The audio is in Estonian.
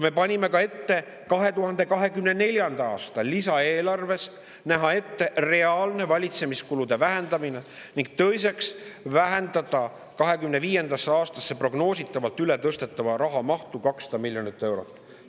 Me panime ka ette 2024. aasta lisaeelarves reaalse valitsemiskulude vähendamise ning 2025. aastasse ületõstetava raha mahu, prognoositavalt 200 miljonit eurot, vähendamise.